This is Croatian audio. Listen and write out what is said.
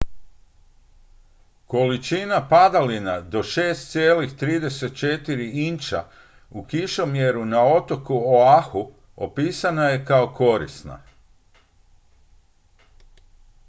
"količina padalina do 6,34 inča u kišomjeru na otoku oahu opisana je kao "korisna"".